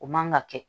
O man ka kɛ